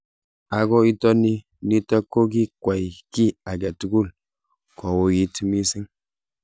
Ako itoni nitok ko ki kwai ki ake tugul ko uwit mising.